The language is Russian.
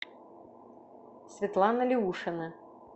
светлана леушина